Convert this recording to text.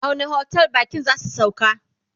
a wani otel bakin zasu sauka?